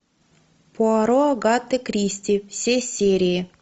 пуаро агаты кристи все серии